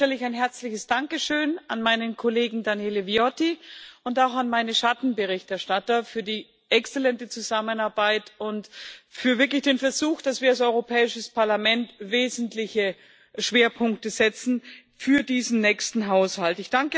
An den Anfang stelle ich ein herzliches Dankeschön an meinen Kollegen Daniele Viotti und auch an meine Schattenberichterstatter für die exzellente Zusammenarbeit und für wirklich den Versuch, dass wir als Europäisches Parlament wesentliche Schwerpunkte setzen für diesen nächsten Haushalt.